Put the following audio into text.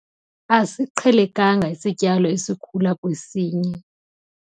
Asiqhelekanga isityalo esikhula kwesinye.